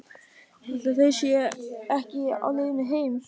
Ætli þau séu ekki á leiðinni heim.